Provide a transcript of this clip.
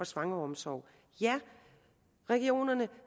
svangeromsorg ja regionerne